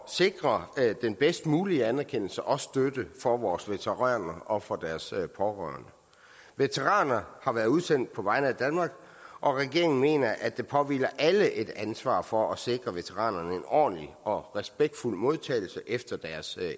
sikre den bedst mulige anerkendelse og støtte for vores veteraner og for deres pårørende veteraner har været udsendt på vegne af danmark og regeringen mener at der påhviler alle et ansvar for at sikre veteranerne en ordentlig og respektfuld modtagelse efter deres